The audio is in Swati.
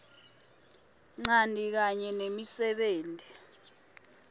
ncanti kanye nemisebenti